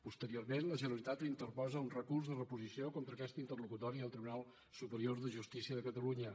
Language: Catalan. posteriorment la generalitat interposa un recurs de reposició contra aquesta interlocutòria al tribunal superior de justícia de catalunya